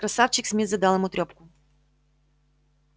красавчик смит задал ему трёпку